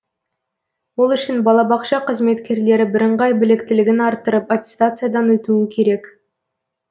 ол үшін балабақша қызметкерлері бірыңғай біліктілігін арттырып аттестациядан өтуі керек